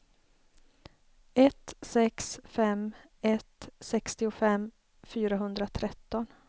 ett sex fem ett sextiofem fyrahundratretton